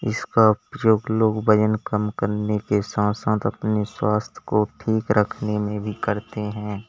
इसका प्रयोग लोग वजन कम करने के साथ साथ अपने स्वास्थ्य को ठीक रखने में भी करते हैं।